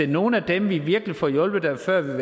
nogle af dem vi virkelig får hjulpet der før ville